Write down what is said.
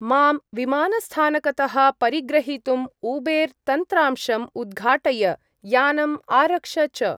मां विमानस्थानकतः परिग्रहीतुम् ऊबेर्-तन्त्रांशं उद्घाटय, यानम् आरक्ष च।